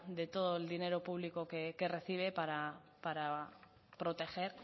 de todo el dinero público que recibe para proteger